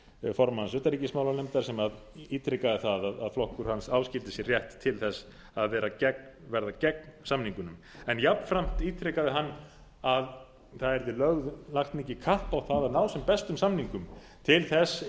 formanns utanríkismálanefndar sem ítrekaði það að flokkur hans áskildi sér rétt til þess að verða gegn samningunum en jafnframt ítrekaði hann að það yrði lagt mikið kapp á það að ná sem bestum samningum til þess